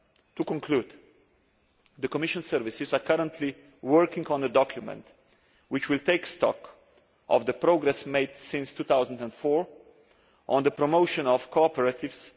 To conclude, the Commission services are currently working on a document which will take stock of the progress made since 2004 on the promotion of cooperatives.